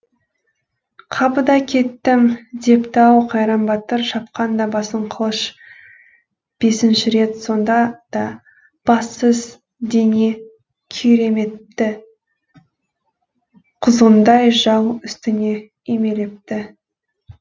қапыда кеттім депті ау қайран батыр шапқанда басын қылыш бесінші рет сонда да бассыз дене күйремепті құзғындай жау үстіне үймелепті